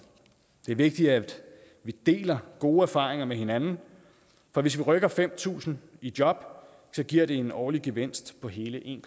det er vigtigt at vi deler gode erfaringer med hinanden for hvis vi rykker fem tusind i job giver det en årlig gevinst på hele en